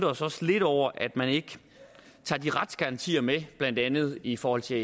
os også lidt over at man ikke tager de retsgarantier med blandt andet i forhold til